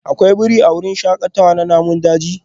Akwai birai a wurin shakatawar namun daji?